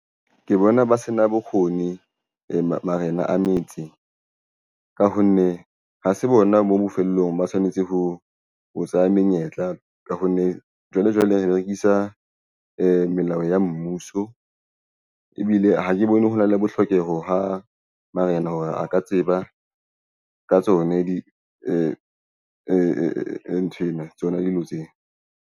Ke bona ba se na bokgoni marena a metse ka ho nne ha se bona mo bofelong. Ba tshwanetse ho tseha menyetla ka hobane jwale re berekisa melao ya mmuso. Ebile ha ke bone ho na le bohloko ho hang. Marena hore a ka tseba ka tsona di nthwena tsona dilo tsena.